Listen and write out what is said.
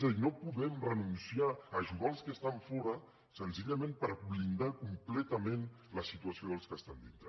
és a dir no podem renunciar a ajudar els que estan fora senzillament per blindar completament la situació dels que estan dintre